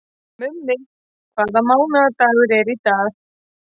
Mummi, hvaða mánaðardagur er í dag?